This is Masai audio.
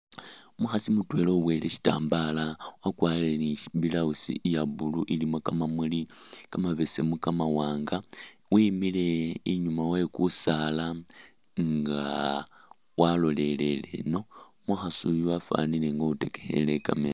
Umukhasi mutwela uboyile sitambaala wakwarire ni i'blouse iya blue ilimo kamamuli kamabesemu, kamawaanga, wimile inyuma we kusaala nga walolelele eno. Umukhasi uyu wafwanile nga uwitekekhele i'camera.